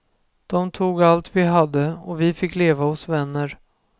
Dom tog allt vi hade och vi fick leva hos vänner.